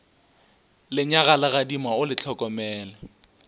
lenyaga legadima o le hlokomele